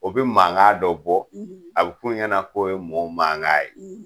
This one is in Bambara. O bi mankan dɔ bɔ a bi kun ɲɛna k'o ye mɔw mankan ye